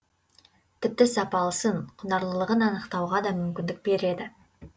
тіпті сапалысын құнарлылығын анықтауға да мүмкіндік береді